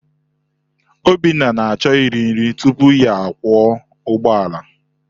Obinna na-achọ iri nri tupu ya akwọ ụgbọala.